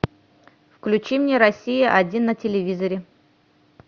включи мне россия один на телевизоре